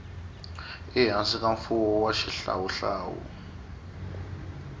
ehansi ka mfumo wa xihlawuhlawu